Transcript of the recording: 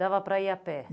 Dava para ir a pé?